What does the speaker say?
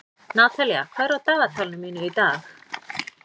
Natalía, hvað er á dagatalinu mínu í dag?